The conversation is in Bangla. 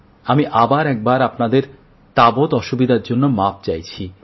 আমি আবার একবার আপনাদের যাবতীয় অসুবিধার জন্য মাপ চাইছি